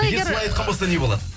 егер солай айтқан болса не болады